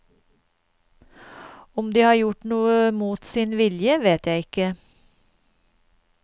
Om de har gjort noe mot sin vilje, vet jeg ikke.